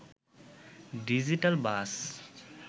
digital bus